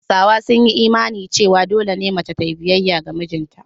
Hausawa sun yi imanin cewa dole ne mace ta yi biyayya ga mijinta.